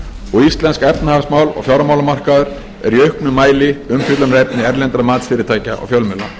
og íslensk efnahagsmál og fjármálamarkaður eru í auknum mæli umfjöllunarefni erlendra matsfyrirtækja og fjölmiðla